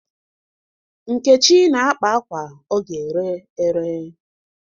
Nkechi na-akpa akwa ọ ga-ere ere.